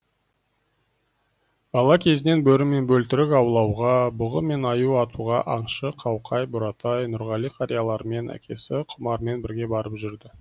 бала кезінен бөрі мен бөлтірік аулауға бұғы мен аю атуға аңшы қауқай буратай нұрғали қариялармен әкесі құмармен бірге барып жүрді